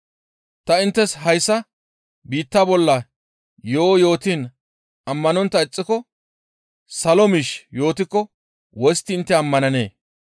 Ta inttes hayssa ha biitta yo7o yootiin ammanontta ixxiko salo miish yootikko wostti intte ammananee?